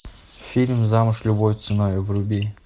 фильм замуж любой ценой вруби